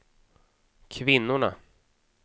kvinnorna